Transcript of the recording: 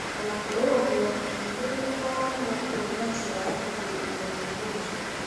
O na kũrĩ ũguo, athuthuria nĩ mararemwo kuona njĩra ya kũgirĩrĩria mũrimũ ũcio biũ.